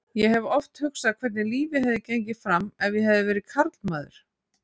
Ég hef oft hugsað hvernig lífið hefði gengið fram ef ég hefði verið karlmaður.